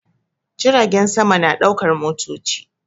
Jiragen sama na ɗaukar motoci